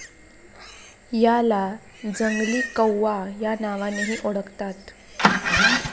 याला जंगली कौव्वा या नावानेही ओळखतात.